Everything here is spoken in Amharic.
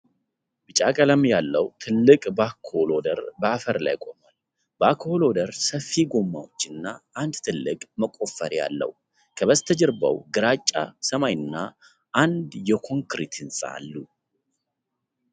ቢጫ ቀለም ያለው ትልቅ ባኬሆ ሎደር በአፈር ላይ ቆሟል፡፡ ባኬሆ ሎደሩ ሰፊ ጎማዎችና አንድ ትልቅ መቆፈሪያ አለው፡፡ ከበስተጀርባው ግራጫ ሰማይና አንድ የኮንክሪት ህንጻ አሉ፡፡